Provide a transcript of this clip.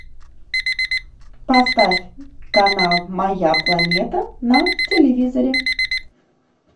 поставь канал моя планета на телевизоре